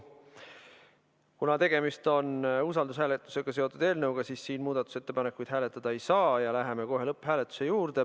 Kuna tegemist on usaldushääletusega seotud eelnõuga, siis muudatusettepanekuid hääletada ei saa ja läheme lõpphääletuse juurde.